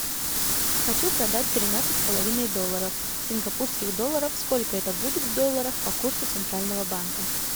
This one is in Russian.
хочу продать тринадцать с половиной долларов сингапурских долларов сколько это будет в долларах по курсу центрального банка